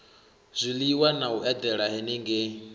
zwiliwa na u edela henengei